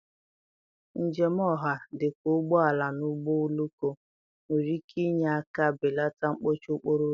njem ọha, dị ka ụgbọ ala na ụgbọ oloko, nwere ike inye aka belata mkpọchị okporo ụzọ.